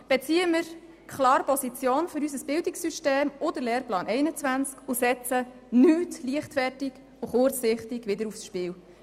Beziehen wir klar Position für unser Bildungssystem und den Lehrplan 21, und setzen wir nichts kurzsichtig und leichtfertig aufs Spiel!